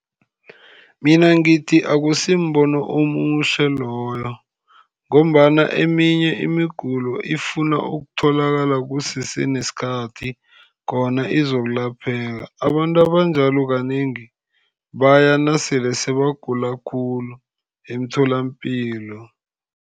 Mina ngithi akusimbono omuhle loyo, ngombana eminye imigulo ifuna ukutholakala kusese nesikhathi, khona izokulapheka. Abantu abanjalo kanengi baya nasele sebagula khulu emtholapilo.